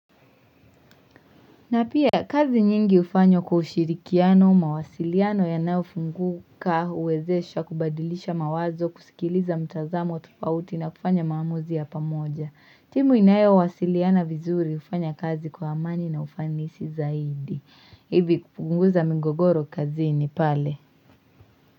Na pia kazi nyingi hufanywa kwa ushirikiano, mawasiliano yanayofunguka huwezesha kubadilisha mawazo, kusikiliza mitazamo tofauti na kufanya maamuzi ya pamoja. Timu inayowasiliana vizuri hufanya kazi kwa amani na ufanisi zaidi kupunguza migogoro kazini pale.